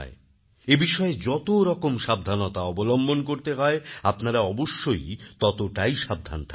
এবিষয়ে যতরকম সাবধানতা অবলম্বন করতে হয় আপনারা অবশ্যই ততটাই সাবধান থাকবেন